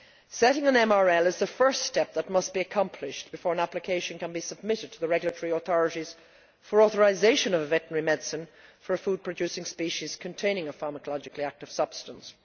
Setting an MRL is the first step that must be accomplished before an application can be submitted to the regulatory authorities for authorisation of a veterinary medicine for a food producing species containing a pharmacologically active substance.